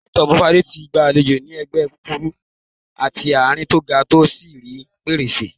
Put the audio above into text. Hi-top fade tí ìgbàlódé ní ẹ̀gbẹ́ kúkúrú àti àárín tó ga tó sì rí pẹrẹsẹ.